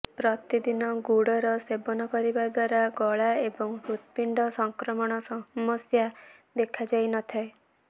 ପ୍ରତିଦିନ ଗୁଡ଼ର ସେବନ କରିବା ଦ୍ୱାରା ଗଳା ଏବଂ ହୃତ୍ପିଣ୍ଡ ସଂକ୍ରମଣ ସମସ୍ୟା ଦେଖା ଯାଇ ନଥାଏ